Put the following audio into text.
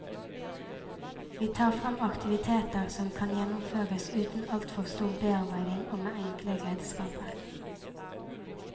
Vi tar fram aktiviteter som kan gjennomføres uten altfor stor bearbeiding og med enkle redskaper.